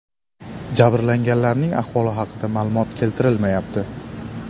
Jabrlanganlarning ahvoli haqida ma’lumot keltirilmayapti.